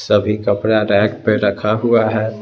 सभी कपड़ा रैक पे रखा हुआ है।